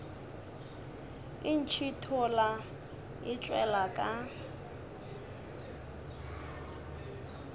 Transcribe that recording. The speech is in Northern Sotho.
e ntšhithola e tšwela ka